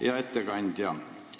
Hea ettekandja!